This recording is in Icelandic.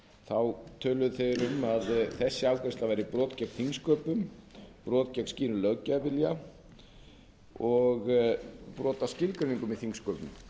á töluðu þeir um að þessi afgreiðsla væri brot gegn þingsköpum brot gegn skýrum löggjafarvilja og brot á skilgreiningum í þingsköpum